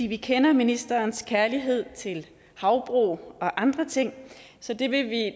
vi kender ministerens kærlighed til havbrug og andre ting så det vil vi